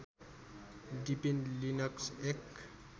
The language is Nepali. डिपिन लिनक्स एक